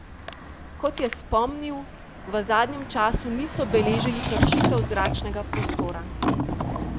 Kot je spomnil, v zadnjem času niso beležili kršitev zračnega prostora.